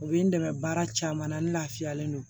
U bɛ n dɛmɛ baara caman na n lafiyalen no